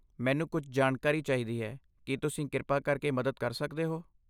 ਮੈਨੂੰ ਕੁਝ ਜਾਣਕਾਰੀ ਚਾਹੀਦੀ ਹੈ ਕੀ ਤੁਸੀਂ ਕਿਰਪਾ ਕਰਕੇ ਮਦਦ ਕਰ ਸਕਦੇ ਹੋ।